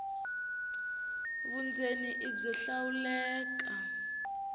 vundzeni i byo hlawuleka